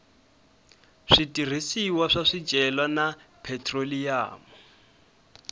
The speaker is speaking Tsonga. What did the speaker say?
switirhisiwa swa swicelwa na phetroliyamu